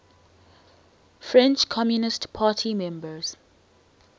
french communist party members